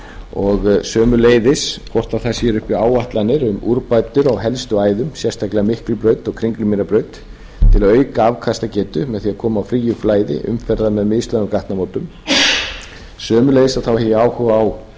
og sömuleiðis hvort það séu uppi áætlanir um úrbætur á helstu æðum sérstaklega miklubraut og kringlumýrarbraut til að auka afkastagetu með því að koma á fríu flæði umferðar með mislægum gatnamótum sömuleiðis hef ég áhuga á svifryksmengunarmálum